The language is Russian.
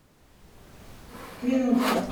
минутка